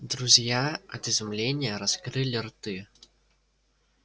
друзья от изумления раскрыли рты